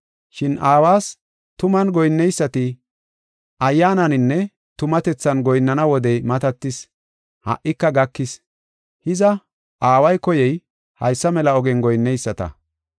Shin Aawas tuman goyinneysati Ayyaananinne tumatethan goyinnana wodey matatis; ha77ika gakis. Hiza, Aaway koyey haysa mela ogiyan goyinneyisata.